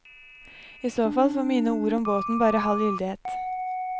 I så fall får mine ord om båten bare halv gyldighet.